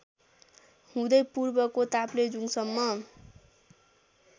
हुँदै पूर्वको ताप्लेजुङसम्म